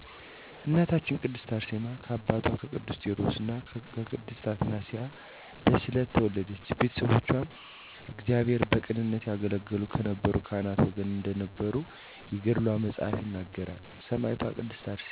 እናታችን ቅድስት አርሴማ ከአባቷ ከቅዱስ ቴወድሮስ ከእናቷ ቅድስት አትናስያ በስዕለት ተወለደች። ቤተሰቦቿ እግዚአብሔርን በቅንነት ያገለገሉ ከነበሩ ካህናት ወገን እንደነበሩ የገድሏ መፅሀፍ ይነግረናል። ሰማዕቷ ቅድስት አርሴማ ቅዱሳት መፃፍትን ከቤተሰቦቿ በሚገባ የተማረች፤ የተማረችዉንም በተግባር የተረጎመች፤ በፀሎት ህይወት የምትተጋ ከቅዱሳት አንስት አንዷ ናት። ተጋድሎዋም እጅግ ያማረ ነበር። በእሷ ዘመን በአርመንያ ሀገር ነግሶ የነበረዉ ንጉስም ድርጣድስ በጣዖትም የሚያመልክ ነበር። ብዙዎችንም አስገደላቸዉ በእናታችን ቅድስት አርሴማም እጅግ መልከ መልካም ስለነበረች ተማረከ አልገድልሽም ሚስቴ አድርጌ ላንግስሽ አላት አይሆንም እኔ<የክርስቶስ ሙሽራ ነኝ >እንጂ ብላ መስከረም 29 ቀን ሰማዕት ሆነች።